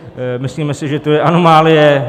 Myslíme si, že to je anomálie.